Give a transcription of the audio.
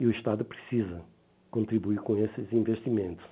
E o Estado precisa contribuir com esses investimentos.